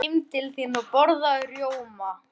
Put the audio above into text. Farðu heim til þín og borðaðu rjóma.